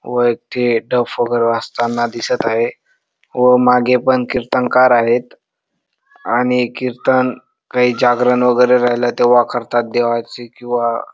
व एक ते डफ वगैरे वाजताना दिसत आहे व मागे पण किर्तनकार आहेत आणि किर्तन काय जागरण वगैरे राहिल ते देवा करतात देवाची किंवा --